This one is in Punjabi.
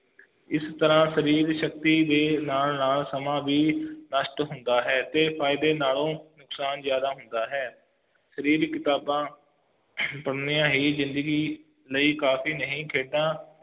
ਇਸ ਨਾਲ ਸਰੀਰ ਦੀ ਸ਼ਕਤੀ ਵੀ ਨਾਲ ਨਾਲ ਸਮਾਂ ਵੀ ਨਸ਼ਟ ਹੁੰਦਾ ਹੈ ਤੇ ਫਾਇਦੇ ਨਾਲੋਂ ਨੁਕਸਾਨ ਜ਼ਯਾਦਾ ਹੁੰਦਾ ਹੈ ਸਰੀਰਿਕ ਕਿਤਾਬਾਂ ਪੜ੍ਹਨੀਆਂ ਹੀ ਜ਼ਿੰਦਗੀ ਲਈ ਕਾਫੀ ਨਹੀਂ ਖੇਡਾਂ